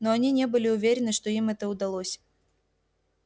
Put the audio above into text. но они не были уверены что им это удалось